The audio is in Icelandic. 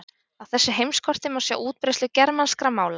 Á þessu heimskorti má sjá útbreiðslu germanskra mála.